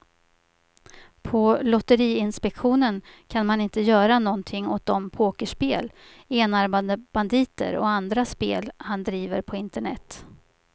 På lotteriinspektionen kan man inte göra någonting åt de pokerspel, enarmade banditer och andra spel han driver på internet.